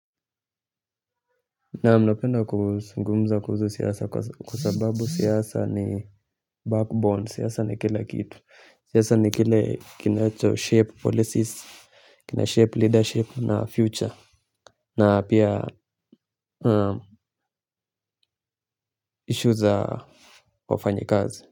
Naam, napenda kuzungumza kuhusu siasa kwa sababu siasa ni backbone siasa ni kila kitu siasa ni kile kinacho shape policies kina shhape leadership na future na pia issue za wafanyikazi.